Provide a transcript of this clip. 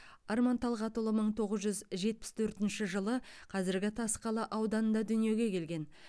арман талғатұлы мың тоғыз жүз жетпіс төртінші жылы қазіргі тасқала ауданында дүниеге келген